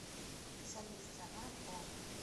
салют страна хо